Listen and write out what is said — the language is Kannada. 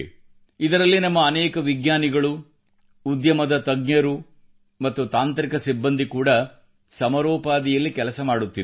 ಇದರಲ್ಲಿ ನಮ್ಮ ಅನೇಕ ವಿಜ್ಞಾನಿಗಳು ಉದ್ಯಮದ ತಜ್ಞರು ಮತ್ತು ತಾಂತ್ರಿಕ ಸಿಬ್ಬಂದಿ ಕೂಡಾ ಸಮರೋಪಾದಿಯಲ್ಲಿ ಕೆಲಸ ಮಾಡುತ್ತಿದ್ದಾರೆ